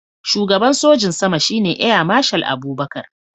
Shugaban sojin sama shine Air Marshal Abubakar